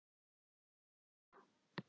Ha, ha, ha!